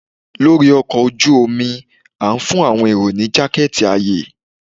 lori ọkọ oju omi, a fun awọn erò ni jaketi aye